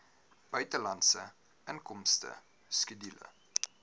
buitelandse inkomste skedule